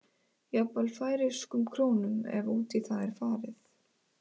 Jafnvel færeyskum krónum ef út í það er farið.